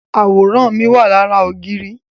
Àwòrán mi wà lára ògiri